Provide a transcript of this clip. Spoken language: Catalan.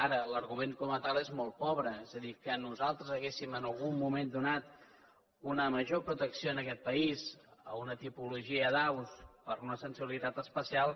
ara l’argument com a tal és molt pobre és a dir que nosaltres haguéssim en algun moment donat una major protecció en aquest país a una tipologia d’aus per una sensibilitat especial